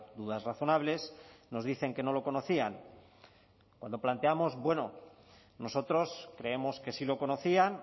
dudas razonables nos dicen que no lo conocían cuando planteamos bueno nosotros creemos que sí lo conocían